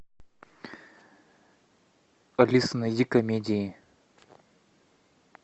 алиса найди комедии